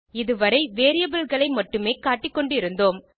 இதுவரை வேரியபிள் களை மட்டுமே காட்டிக்கொண்டு இருந்தோம்